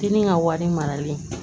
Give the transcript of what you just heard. Denni ka wari marali